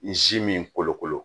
N si min n kolokolo